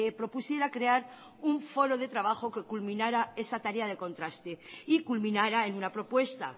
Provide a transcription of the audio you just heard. propusiera crear un foro de trabajo que culminara esa tarea de contraste y culminará en una propuesta